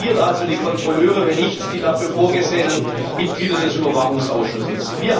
Wer kontrolliert also die Kontrolleure, wenn nicht die dafür vorgesehenen Mitglieder des Überwachungsausschusses?